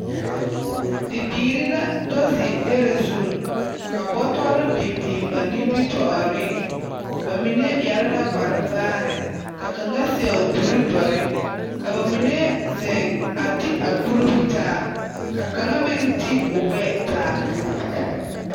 Bibiiri la do zeŋ dɛre zuŋ, ka bɔtɔre biŋ biŋ ba nimitɔɔreŋ, bamine yare la kpare vaare, ka kaŋa sɛo kuri dɔre, ka bamine zeŋ a ti a kuribo taa, ka kaŋa meŋ ti o gbɛɛ taa. 13374.